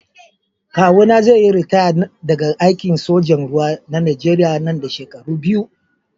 Kawuna zai yi ritaya daga aikin sojan ruwa na najeriya nan da shekaru biyu.